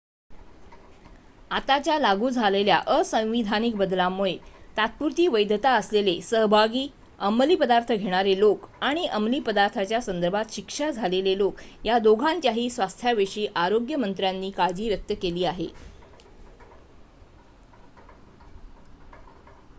आताच्या लागू झालेल्या असंवैधानिक बदलांमुळे तात्पुरती वैधता असलेले सहभागी अमलीपदार्थ घेणारे लोक आणि अमलीपदार्थांच्या संदर्भात शिक्षा झालेले लोक या दोघांच्याही स्वास्थ्याविषयी आरोग्य मंत्र्यांनी काळजी व्यक्त केली आहे